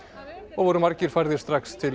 og voru margir færðir strax til